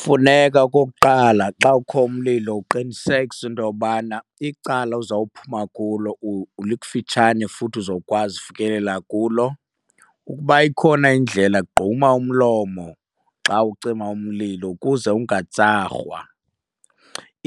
Funeka okokuqala xa kukho umlilo uqinisekise into yobana icala ozawuphuma kulo likufitshane futhi uzokwazi ukufikelela kulo. Ukuba ikhona indlela gquma umlomo xa ucima umlilo ukuze ungatsarhwa.